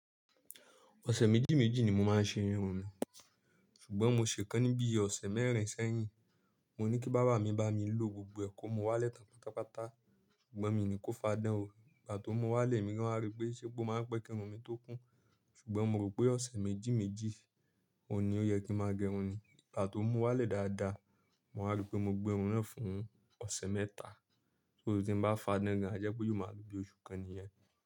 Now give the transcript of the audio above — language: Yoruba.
Ọ̀sẹ̀ méjì méjì ni mo máa ń ṣe irun mi, ṣùgbọ́n mo ṣe kán níbi ọ̀sẹ̀ mẹ́rin sẹ́yìn. Mo ní kí bàbá mi bá mi low gbogbo ko mú wálẹ̀ tán pátápátá, ṣùgbọ́n mi ò ní kó fa dán o. Ìgbà to mú wálẹ̀, èmi gan wá rí pé ṣé pe o máa ń pẹ́ kí irun mi tó kún. Ṣùgbọ́n mo rò pé ọ̀sẹ̀ méjì méjì òun ní o yẹ kí ń má gẹrun ni. Ìgbà tó mú wálẹ̀ dáadáa, mo wa rí pé mo gbé irun náà fún ọ̀sẹ̀ mẹ́ta. Torí tí n bá fa dán, gan a jẹ́ pé yóò máa lò bí oṣù kan nìyẹn.